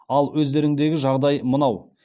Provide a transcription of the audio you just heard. ал өздеріңдегі жағдай мынау